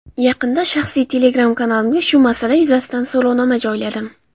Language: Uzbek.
Yaqinda shaxsiy Telegram-kanalimga shu masala yuzasidan so‘rovnoma joyladim.